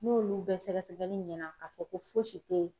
N'olu bɛɛ sɛgɛsɛgɛli ɲɛna k'a fɔ ko fosi tɛ